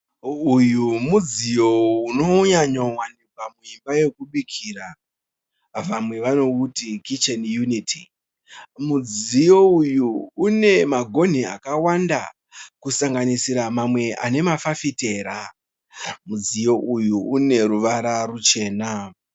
Uyu mudziyo unonyanyo wanikwa muimba yekubikira, vamwe vanouti kicheni yuniti. Mudziyo uyu une magonhi akawanda kusanganisira mamwe ane mafafitera. Mudziyo uyu une ruvara ruchena.